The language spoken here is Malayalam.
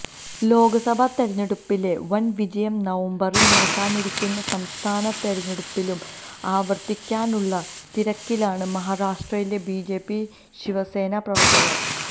ലോക്സഭാ തെരഞ്ഞെടുപ്പിലെ വന് വിജയം നവംബറില് നടക്കാനിരിക്കുന്ന സംസ്ഥാന തെരഞ്ഞെടുപ്പിലും ആവര്ത്തിക്കാനുള്ള തിരക്കിലാണ് മഹാരാഷ്ട്രയിലെ ബിജെപി ശിവസേന പ്രവര്ത്തകര്